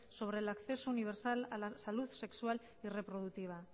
sobre el acceso universal a la salud sexual y reproductiva